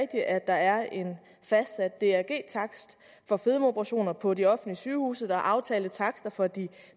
at der er en fastsat drg takst for fedmeoperationer på de offentlige sygehuse der er aftalte takster for de